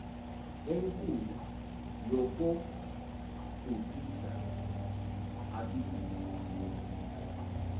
enkulu yokodukisa akubizwa